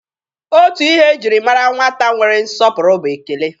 Otu ihe e jiri mara nwata nwere nsọpụrụ bụ ekele.